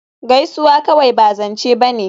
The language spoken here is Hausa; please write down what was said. Gaisuwa kawai ba zance ba ne